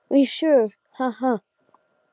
Voða gaman að leika sér saman